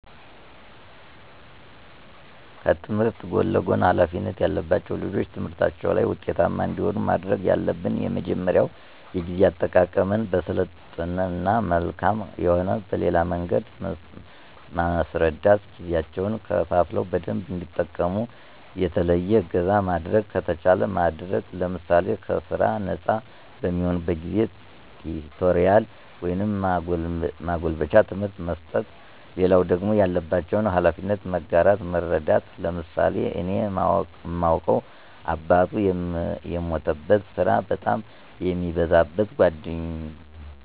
ከትምህርት ጎን ለጎን ሀላፊነት ያለባቸው ልጆች ትምህርታቸው ላይ ውጤታማ እንዲሆኑ ማድረግ ያለብን የመጀመሪያው የጊዜ አጠቃቀመን በስልጠና መልክም ሆነ በሌላ መንገድ መስረዳት ጊዜያቸውን ከፋፍለው በደንብ እንዲጠቀሙ፣ የተለየ እገዛ ማድረግ ከተቻለ ማድረግ ለምሳሌ ከስራ ነጻ በሚሆኑበት ጊዜ ቲቶሪያል ወይም ማጎልበቻ ትምህርት መስጠት። ሌላው ደግሞ ያለባቸውን ሀላፊነት መጋራት መረዳዳት። ለምሳሌ እኔ ማውቀው አባቱ የሞተበት ስራ በጣም የሚበዛበት